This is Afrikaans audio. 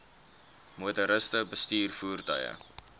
motoriste bestuur voertuie